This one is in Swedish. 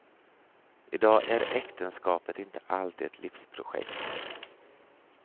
I dag är äktenskapet inte alltid ett livsprojekt.